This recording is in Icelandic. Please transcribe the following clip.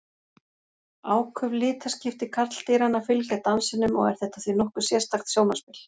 Áköf litaskipti karldýranna fylgja dansinum og er þetta því nokkuð sérstakt sjónarspil.